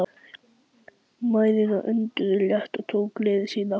Mæðurnar önduðu léttar og tóku gleði sína aftur.